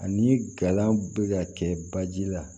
Ani gala bɛ ka kɛ baji la